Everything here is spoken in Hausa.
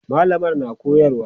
mallamar na koyarwa